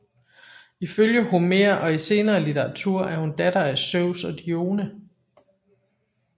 Ifølge Homer og i senere litteratur er hun datter af Zeus og Dione